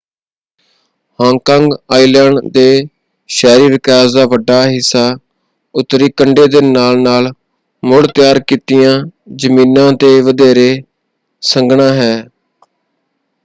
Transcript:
Hong Kong Island ਦੇ ਸ਼ਹਿਰੀ ਵਿਕਾਸ ਦਾ ਵੱਡਾ ਹਿੱਸਾ ਉੱਤਰੀ ਕੰਢੇ ਦੇ ਨਾਲ-ਨਾਲ ਮੁੜ ਤਿਆਰ ਕੀਤੀਆਂ ਜ਼ਮੀਨਾਂ 'ਤੇ ਵਧੇਰੇ ਸੰਘਣਾ ਹੈ।